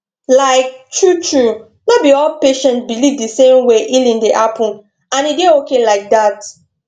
like truetrue no be all patients believe the same way healing dey happen and e dey okay like that